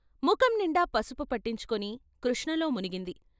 ముఖంనిండా పసుపు పట్టించుకుని కృష్ణలో మునిగింది.